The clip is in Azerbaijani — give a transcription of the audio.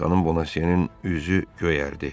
Xanım Bonasye-nin üzü göyərdi.